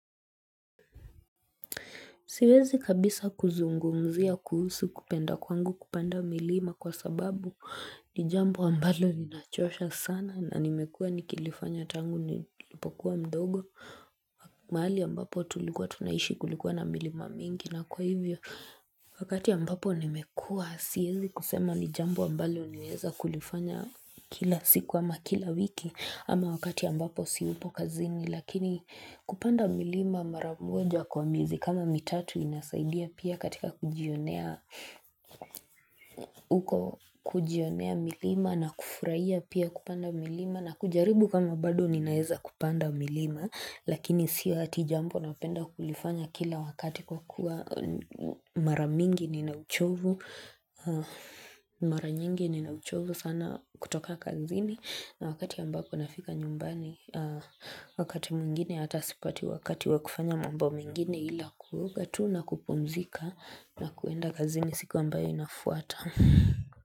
Siwezi kabisa kuzungumzia kuhusu kupenda kwangu kupanda milima kwa sababu ni jambo ambalo linachosha sana na nimekuwa nikilifanya tangu nilipokuwa mdogo mahali ambapo tulikuwa tunaishi kulikuwa na milima mingi na kwa hivyo wakati ambapo nimekuwa siwezi kusema ni jambo ambalo nimeweza kulifanya kila siku ama kila wiki ama wakati ambapo siyupo kazini Lakini kupanda milima mara moja kwa miezi kama mitatu inasaidia pia katika kujionea kujionea milima na kufurahia pia kupanda milima na kujaribu kama bado ninaweza kupanda milima Lakini sio ati jambo napenda kulifanya kila wakati kwa kuwa mara mingi ninauchovu Mara nyingi ninauchovu sana kutoka kazini na wakati ambapo nafika nyumbani wakati mwingine hata sipati wakati wa kufanya mambo mengine ila kuoga tu na kupumzika na kuenda kazini siku ambayo inafuata.